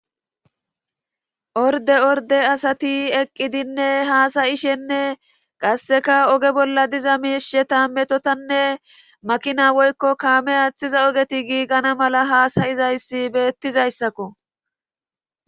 Orde orde asati eqqidinne haasayishenne qasseka oge bolla diza miishe ta metotanne makina woykko kaame aaththiza ogeti giigana mala haasayizayssi beettizayssakko